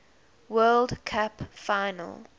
world cup final